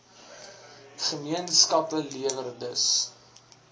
gemeenskappe lewer dus